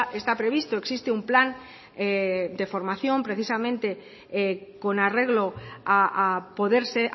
está previsto existe un plan de formación precisamente con arreglo a poderse